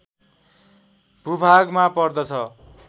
भूभागमा पर्दछ